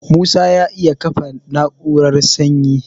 Musa ya iya kafa na'urar sanyi